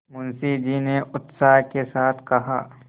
मुंशी जी ने उत्साह के साथ कहा